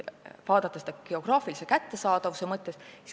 Vaatame geograafilist kättesaadavust.